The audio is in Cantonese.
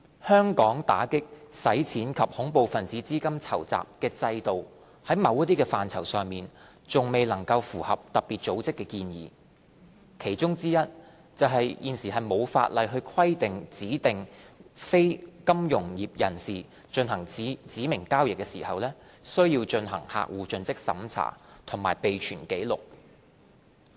香港打擊洗錢及恐怖分子資金籌集的制度，在某些範疇上還未能符合特別組織的建議，其中之一是現時並無法例規定指定非金融業人士進行指明交易時，須進行客戶盡職審查及備存紀錄。